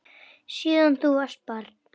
Síðan þú varst barn.